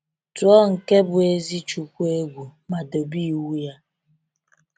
Tuo nke bụ ezi chukwu egwu ma dobe iwu ya.